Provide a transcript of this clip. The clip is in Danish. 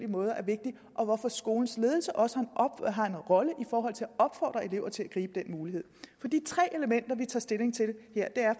måder er vigtigt og hvorfor skolens ledelse også har en rolle i forhold til at opfordre elever til at gribe den mulighed de tre elementer vi tager stilling til